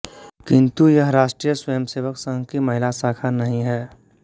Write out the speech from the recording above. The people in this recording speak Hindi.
किन्तु यह राष्ट्रीय स्वयंसेवक संघ की महिला शाखा नहीं है